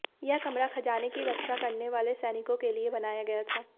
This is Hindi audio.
यह कमरा खजाने की रक्षा करने वाले सैनिकों के लिए बनाया गया था